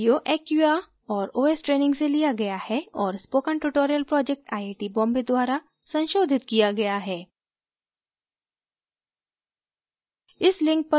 यह video acquia और os training से लिया गया है और spoken tutorial project IIT Bombay द्वारा संशोधित किया गया है